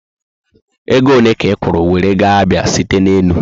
Ego ole ka ikwuru were gaa Abia site ná élú?